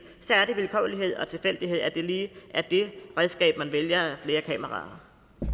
så er det vilkårlighed og tilfældighed at det lige er det redskab man vælger flere kameraer